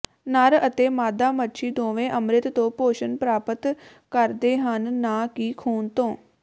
ਨਰ ਅਤੇ ਮਾਦਾ ਮੱਛੀ ਦੋਵੇਂ ਅੰਮ੍ਰਿਤ ਤੋਂ ਪੋਸ਼ਣ ਪ੍ਰਾਪਤ ਕਰਦੇ ਹਨ ਨਾ ਕਿ ਖੂਨ ਤੋਂ